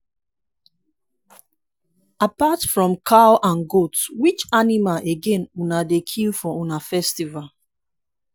apart from cow and goat which animal again una dey kill for una festival